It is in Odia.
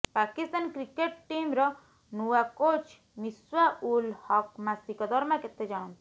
ପାକିସ୍ତାନ କ୍ରିକେଟ୍ ଟିମ୍ର ନୂଆ କୋଚ୍ ମିସ୍ବା ଉଲ୍ ହକ୍ ମାସିକ ଦରମା କେତେ ଜାଣନ୍ତୁ